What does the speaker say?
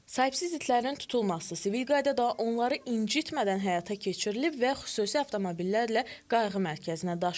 Sahibsiz itlərin tutulması sivil qaydada, onları incitmədən həyata keçirilib və xüsusi avtomobillərlə qayğı mərkəzinə daşınıb.